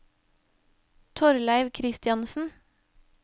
Torleiv Kristiansen